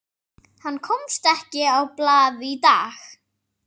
Hann komst ekki á blað í dag.